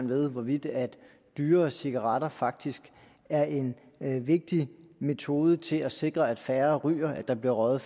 ved hvorvidt dyrere cigaretter faktisk er en vigtig metode til at sikre at færre ryger at der bliver røget